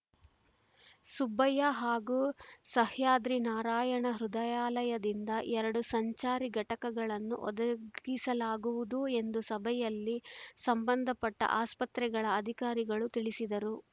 ಸುಬ್ಬಯ್ಯ ಹಾಗೂ ಸಹ್ಯಾದ್ರಿ ನಾರಾಯಣ ಹೃದಯಾಲಯದಿಂದ ಎರಡು ಸಂಚಾರಿ ಘಟಕಗಳನ್ನು ಒದಗಿಸಲಾಗುವುದು ಎಂದು ಸಭೆಯಲ್ಲಿ ಸಂಬಂಧಪಟ್ಟಆಸ್ಪತ್ರೆಗಳ ಅಧಿಕಾರಿಗಳು ತಿಳಿಸಿದರು